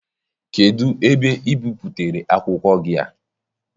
Kedụ ebe ị bipụtara akwụkwọ gị a?